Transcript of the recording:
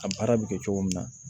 A baara bɛ kɛ cogo min na